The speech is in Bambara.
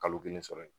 Kalo kelen sɔrɔ yen